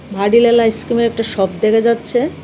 ভাডিলাল আইসক্রিমের একটা সপ দেখা যাচ্ছে .